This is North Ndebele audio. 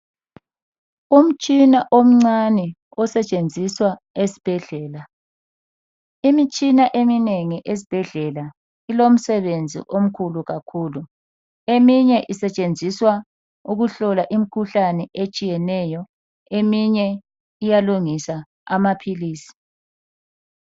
Umtshina omncane osetshenziswa esibhedlela. Imitshina eminengi esibhedlela ilomsebenzi omkhulu kakhulu. Eminye isetshenziswa ukuhlola imikhuhlane etshiyeneyo eminye iyalungisa amaphilisi.